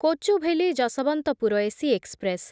Kochuveli Yesvantpur AC express